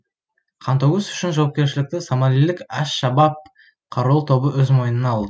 қантөгіс үшін жауапкершілікті сомалилік әш шабаб қарулы тобы өз мойнына алды